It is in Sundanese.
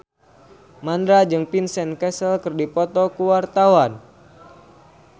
Mandra jeung Vincent Cassel keur dipoto ku wartawan